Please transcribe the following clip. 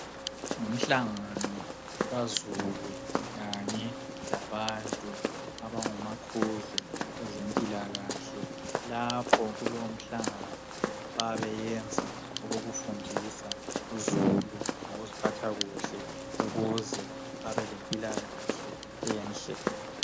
Ngumhlangano kazulu kanye labantu abangomquzu kwezempilakahle lapho kulomhlangano bayabeyenza okokufundisa uzulu ngokuziphatha kuhle ukuze babelimpilakahle enhle.